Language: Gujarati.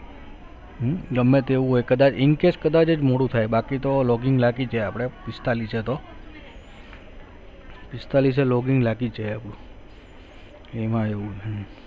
ગમે તેવું હોય કદાજ incase કદાજ જ મોડું થાય બાકી તો login લાગી જ જાય આપડે પિસ્તાળીસ એતો પીસ્તાલીશ એ login લાગી જ જાય આપડું એમાં એવું હ